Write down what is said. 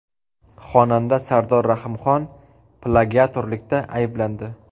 Xonanda Sardor Rahimxon plagiatorlikda ayblandi.